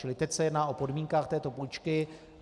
Čili teď se jedná o podmínkách této půjčky.